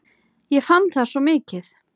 Ég fann það svo mikið.